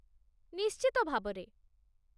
ନିଶ୍ଚିତ ଭାବରେ